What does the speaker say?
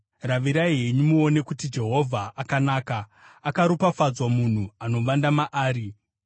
Ravirai henyu muone kuti Jehovha akanaka; akaropafadzwa munhu anovanda maari.